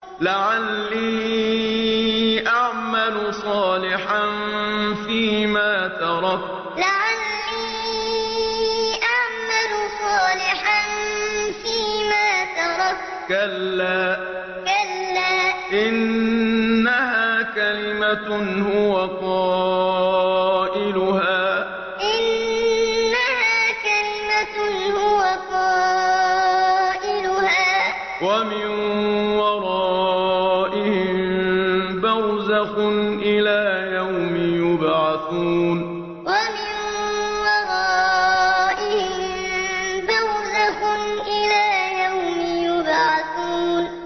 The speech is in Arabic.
لَعَلِّي أَعْمَلُ صَالِحًا فِيمَا تَرَكْتُ ۚ كَلَّا ۚ إِنَّهَا كَلِمَةٌ هُوَ قَائِلُهَا ۖ وَمِن وَرَائِهِم بَرْزَخٌ إِلَىٰ يَوْمِ يُبْعَثُونَ لَعَلِّي أَعْمَلُ صَالِحًا فِيمَا تَرَكْتُ ۚ كَلَّا ۚ إِنَّهَا كَلِمَةٌ هُوَ قَائِلُهَا ۖ وَمِن وَرَائِهِم بَرْزَخٌ إِلَىٰ يَوْمِ يُبْعَثُونَ